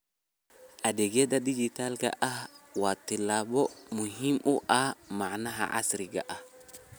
Adeegyada dijitaalka ah waa tallaabo muhiim u ah macnaha casriga ah.